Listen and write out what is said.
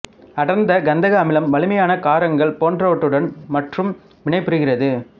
அடர் கந்தக அமிலம் வலிமையான காரங்கள் போன்றவற்றுடன் மற்றும் வினைபுரிகிறது